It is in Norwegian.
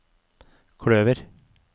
kløver